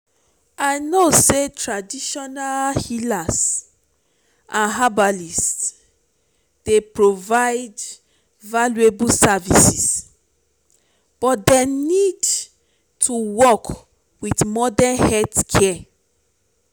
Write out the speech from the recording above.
i know say traditional healers and herbalists dey provide valuable services but dem need to work with modern healthcare.